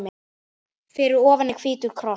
Fyrir ofan er hvítur kross.